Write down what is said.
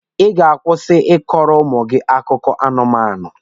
Ị ga-akwụsị ịkọrọ ụmụ gị akụkọ anụmanụ!